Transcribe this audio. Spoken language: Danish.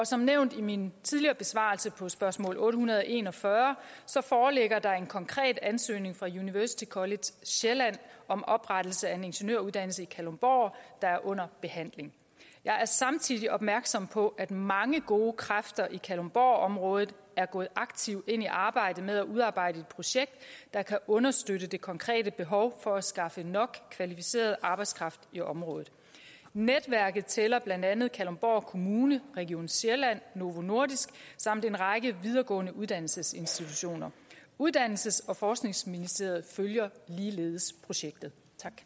som nævnt i min tidligere besvarelse på spørgsmål otte hundrede og en og fyrre foreligger der en konkret ansøgning fra university college sjælland om oprettelse af en ingeniøruddannelse i kalundborg der er under behandling jeg er samtidig opmærksom på at mange gode kræfter i kalundborgområdet er gået aktivt ind i arbejdet med at udarbejde et projekt der kan understøtte det konkrete behov for at skaffe nok kvalificeret arbejdskraft i området netværket tæller blandt andet kalundborg kommune region sjælland novo nordisk samt en række videregående uddannelsesinstitutioner uddannelses og forskningsministeriet følger ligeledes projektet